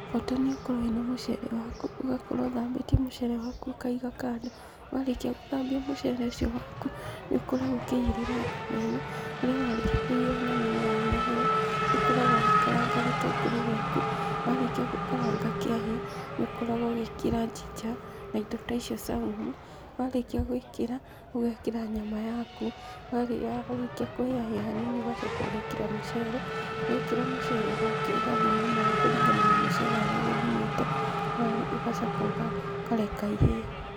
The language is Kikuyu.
Bata nĩũkorwo wĩna mũcere waku, ũgakorwo ũthambĩtie mũcere waku ũkaiga kando, warĩkia gũthambia mũcere ũcio waku, nĩũkoragwo ũkĩigĩrĩra nyama ĩno, harĩa warĩkia kũigĩrĩra nyama ĩno yahĩa hĩa, nĩũkoragwo ũgĩkaranga gĩtũngũrũ gĩaku, warĩkia gũkaranga kĩahĩa, nĩũkoragwo ũgĩkĩra njinja na indo ta icio caumu, warĩkia gwĩkĩra, ũgekĩra nyama yaku, yarĩkia kũhĩa hĩa hanini ũgacoka ũgekĩra mũcere, wekĩra mũcere ũgathima maaĩ kũringana na mũcere ũrĩa ũgũthimĩte, ũgacoka ũkareka ihĩe.